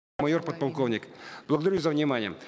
майор подполковник благодарю за внимание